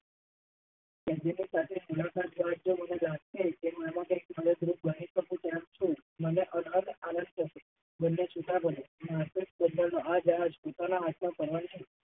નથી સમજાતું